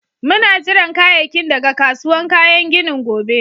Muna jiran kayakin daga kasuwan kayan ginin gobe.